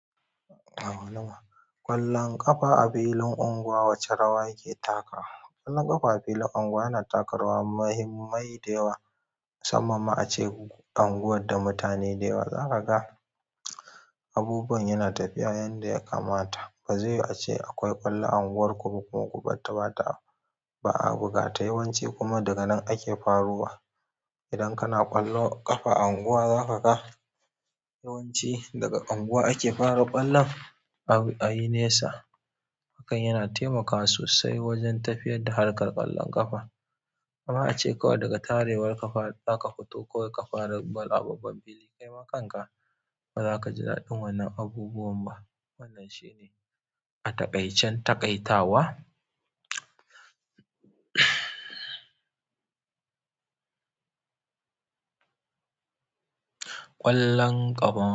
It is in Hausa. Ƙwallon ƙafa a filin unguwa wace rawa yake takawa? Ƙwallon ƙafa a filin unguwa yana taka rawa mahimmai da yawa. Musamman ma ace unguwar da mutane da yawa zaka ga abubuwan yana tafiya yanda ya kamata. Ba zaiyiwu ace akwai ƙwallo a unguwar ku ba kuma ku barta ba a buga. Ta yawan ci kuma daga nan ake farowa. Idan kana ƙwallo ƙafa a unguwa zaka ga yawanci daga unguwa ake fara ƙwallon a yi nesa. Hakan yana taimakawa sosai wajen tafiyar da harkar ƙwallon ƙafa. Amma ace kawai daga tarewar ka far zaka fito kawai ka fara ƙwallo a babban fili kai ma kanka ba za ka ji daɗin wannan abubuwan ba. Wannan shi ne a taƙaicen taƙaitawa ƙwallon ƙafa.